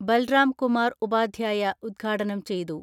ബൽറാം കുമാർ ഉപാധ്യായ ഉദ്ഘാടനം ചെയ്തു.